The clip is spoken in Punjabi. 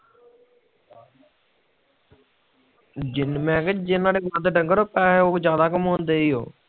ਮੈਨਕਿਹਾ ਜਿਨ੍ਹਾਂ ਦੇ ਵਾਦ ਡੰਗਰ ਆ ਉਹ ਪੈਸੇ ਪੂਸੇ ਜਾਂਦਾ ਕਮਾਉਂਦੇ ਏ ਓਹੋ